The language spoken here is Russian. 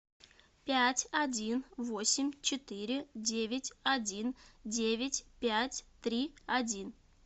пять один восемь четыре девять один девять пять три один